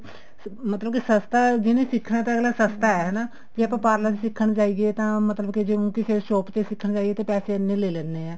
ਮਤਲਬ ਕੇ ਸਸਤਾ ਜਿਹਨੇ ਸਿੱਖਣਾ ਤਾਂ ਅਗਲਾ ਸਸਤਾ ਹੈ ਹਨਾ ਜੇ ਆਪਾਂ parlor ਸਿੱਖਣ ਜਾਈਏ ਤਾਂ ਮਤਲਬ ਕੇ ਜੇ ਊਂ ਕਿਸੇ shop ਤੇ ਸਿੱਖਣ ਜਾਈਏ ਤਾਂ ਪੈਸੇ ਇੰਨੇ ਲੈ ਲੈਣੇ ਆ